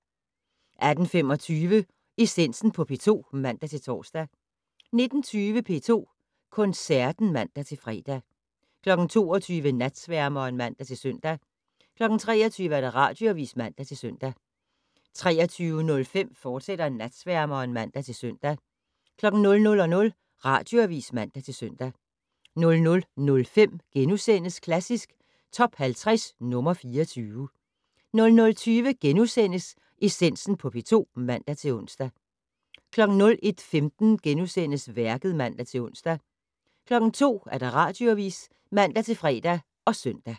18:25: Essensen på P2 (man-tor) 19:20: P2 Koncerten (man-fre) 22:00: Natsværmeren (man-søn) 23:00: Radioavis (man-søn) 23:05: Natsværmeren, fortsat (man-søn) 00:00: Radioavis (man-søn) 00:05: Klassisk Top 50 - nr. 24 * 00:20: Essensen på P2 *(man-ons) 01:15: Værket *(man-ons) 02:00: Radioavis (man-fre og søn)